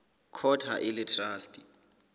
court ha e le traste